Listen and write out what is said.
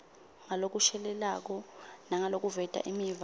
ngalokushelelako nangalokuveta imiva